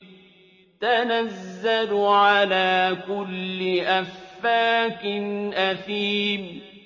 تَنَزَّلُ عَلَىٰ كُلِّ أَفَّاكٍ أَثِيمٍ